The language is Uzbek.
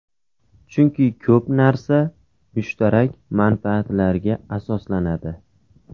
Chunki ko‘p narsa mushtarak manfaatlarga asoslanadi.